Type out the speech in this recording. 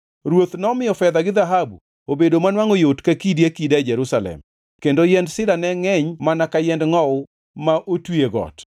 Ruoth nomiyo fedha gi dhahabu obedo manwangʼo yot ka kidi akida Jerusalem kendo yiend sida ne ngʼeny mana ka yiend ngʼowu ma otwi e got.